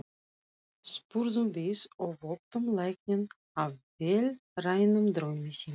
spurðum við og vöktum lækninn af vélrænum draumi sínum.